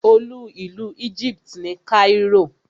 Olú ìlú Egypt ni Cairo.